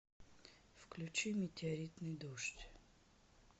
включи метеоритный дождь